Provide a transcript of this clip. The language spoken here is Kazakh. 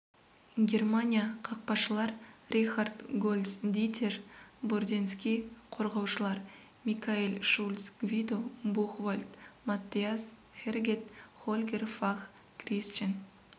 германия қақпашылар рихард гольц дитер бурденски қорғаушылар микаэль шульц гвидо бухвальд маттиас хергет хольгер фах крисчен